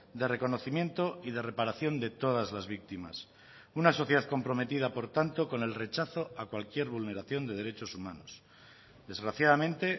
de reconocimiento y de reparación de todas las víctimas una sociedad comprometida por tanto con el rechazo a cualquier vulneración de derechos humanos desgraciadamente